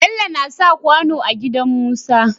Bello nasa kwano a gidan musa